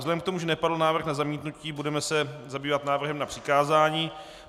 Vzhledem k tomu, že nepadl návrh na zamítnutí, budeme se zabývat návrhem na přikázání.